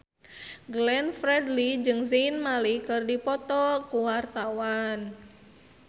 Glenn Fredly jeung Zayn Malik keur dipoto ku wartawan